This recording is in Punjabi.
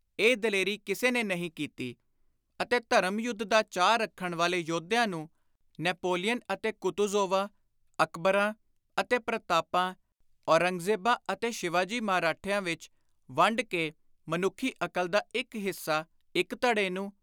ਇਹ ਦਲੇਰੀ ਕਿਸੇ ਨੇ ਨਹੀਂ ਕੀਤੀ ਅਤੇ ਧਰਮ-ਯੁੱਧ ਦਾ ਚਾਅ ਰੱਖਣ ਵਾਲੇ ਯੋਧਿਆਂ ਨੂੰ ਨੈਪੋਲੀਅਨ ਅਤੇ ਕੁਤੂਜ਼ੋਵਾਂ, ਅਕਬਰਾਂ ਅਤੇ ਪ੍ਰਤਾਪਾਂ, ਔਰੰਗਜ਼ੇਬਾਂ ਅਤੇ ਸ਼ਿਵਾ ਜੀ ਮਰਹੱਟਿਆਂ ਵਿਚ ਵੰਡ ਕੇ ਮਨੁੱਖੀ ਅਕਲ ਦਾ ਇਕ ਹਿੱਸਾ ਇਕ ਧੜੇ ਨੂੰ